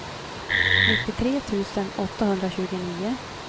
nittiotre tusen åttahundratjugonio